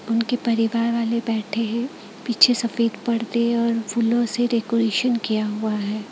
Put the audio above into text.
उनके परिवार वाले बैठे हैं पीछे सफेद पर्दे और फूलों से डेकोरेशन किया हुआ है।